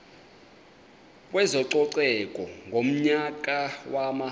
kwezococeko ngonyaka wama